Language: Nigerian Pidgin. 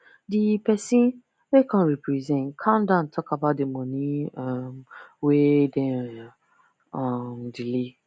the person wey come represent calm down talk about the money um wey them um delay